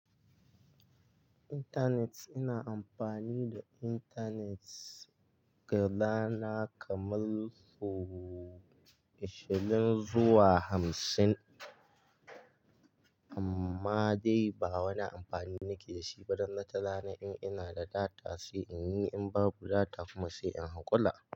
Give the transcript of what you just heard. Internet, ina amfani da internet gyada na kamar sau ashirin zuwa hamsin. Amma dai ba wani amfani nake da shi ba don wata rana in ina da data sai in yi, in babu data kuma sai in hakula.